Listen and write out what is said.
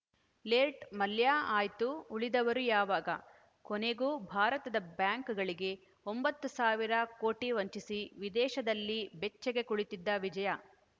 late Mallya ಆಯ್ತು ಉಳಿದವರು ಯಾವಾಗ ಕೊನೆಗೂ ಭಾರತದ ಬ್ಯಾಂಕ್‌ಗಳಿಗೆ ಒಂಬತ್ತು ಸಾವಿರ ಕೋಟಿ ವಂಚಿಸಿ ವಿದೇಶದಲ್ಲಿ ಬೆಚ್ಚಗೆ ಕುಳಿತಿದ್ದ ವಿಜಯ